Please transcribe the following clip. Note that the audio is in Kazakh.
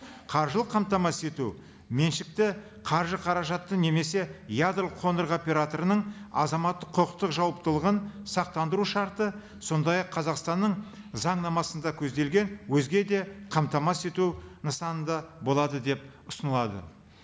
қаржылық қамтамасыз ету меншікті қаржы қаражатты немесе ядролық қондырғы операторының азаматтық құқықтық жауаптылығын сақтандыру шарты сондай ақ қазақстанның заңнамасында көзделген өзге де қамтамасыз ету нысаны да болады деп ұсынылады